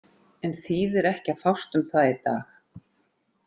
En þýðir ekki að fást um það í dag.